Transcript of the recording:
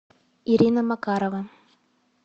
ирина макарова